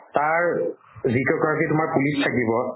তাৰ police থাকিব